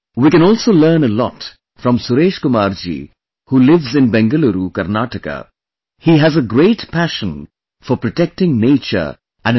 We can also learn a lot from Suresh Kumar ji, who lives in Bangaluru, Karnataka, he has a great passion for protecting nature and environment